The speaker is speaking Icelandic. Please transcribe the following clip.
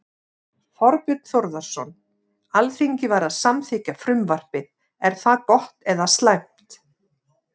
Þorbjörn Þórðarson: Alþingi var að samþykkja frumvarpið, er það gott eða slæmt?